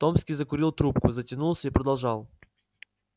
томский закурил трубку затянулся и продолжал